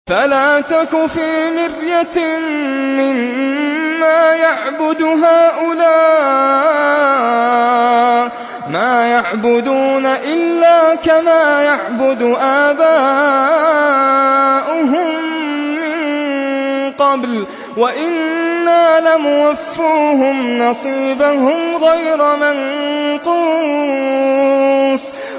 فَلَا تَكُ فِي مِرْيَةٍ مِّمَّا يَعْبُدُ هَٰؤُلَاءِ ۚ مَا يَعْبُدُونَ إِلَّا كَمَا يَعْبُدُ آبَاؤُهُم مِّن قَبْلُ ۚ وَإِنَّا لَمُوَفُّوهُمْ نَصِيبَهُمْ غَيْرَ مَنقُوصٍ